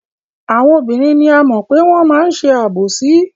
Àwọn obìnrin ni a mọ̀ pé wọ́n máa ń ṣe àbòsí.